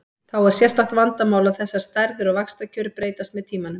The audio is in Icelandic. Þá er sérstakt vandamál að þessar stærðir og vaxtakjör breytast með tímanum.